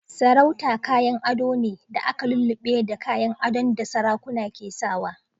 Sarauta kayan ado ne da aka lullube da kayan adon da sarakuna ke sawa.